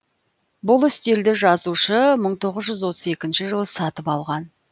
бұл үстелді жазушы мың тоғыз жүз отыз екінші жылы сатып алған